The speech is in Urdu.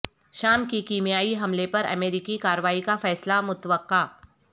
شام کے کیمیائی حملے پر امریکی کارروائی کا فیصلہ متوقع